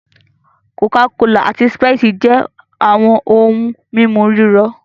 Coca-Cola ati Sprite jẹ awọn ohun mímu rírọ̀